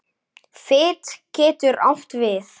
Fit getur átt við